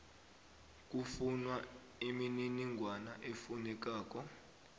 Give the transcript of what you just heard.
kufunwa imininingwana efunekako